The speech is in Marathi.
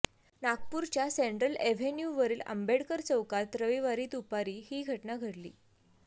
नागपूरच्या सेंट्रल एव्हेन्यूवरील आंबेडकर चौकात रविवारी दुपारी ही घटना घडली